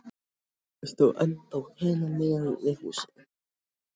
það stóð ennþá hinum megin við húsið.